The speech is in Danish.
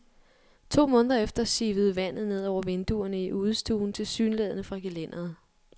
To måneder efter sivede vandet ned over vinduerne i udestuen tilsyneladende fra gelænderet.